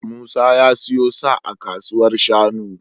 Musa ya siyo sa a kasuwar shanu.